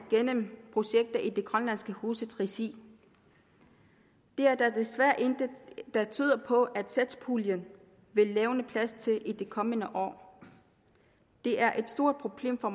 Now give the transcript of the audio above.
gennem projekter i det grønlandske hus regi der er desværre intet der tyder på at satspuljen vil levne plads til dette i de kommende år det er et stort problem for